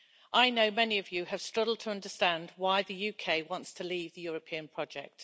I know many of you have struggled to understand why the UK wants to leave the European project.